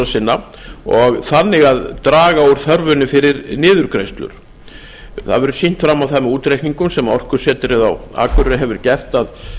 sinna og þannig að draga úr þörfinni fyrir niðurgreiðslur það hefur verið sýnt á það með útreikningum sem orkusetrið á akureyri hefur gert að